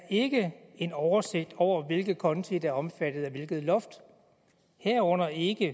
ikke er en oversigt over hvilke konti der er omfattet af hvilket loft herunder ikke